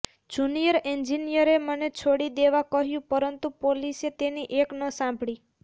junior એન્જિનયરે મને છોડી દેવા કહ્યું પરંતુ પોલીસે તેની એક ન સાંભળી